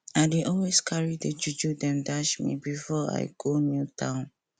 i dey always carry the juju dem dash me before i go new town